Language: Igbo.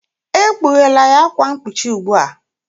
Ekpughela ya akwa mkpuchi ugbu a!